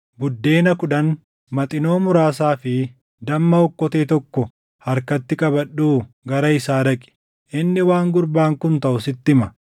Buddeena kudhan, maxinoo muraasaa fi damma okkotee tokko harkatti qabadhuu gara isaa dhaqi. Inni waan gurbaan kun taʼu sitti hima.”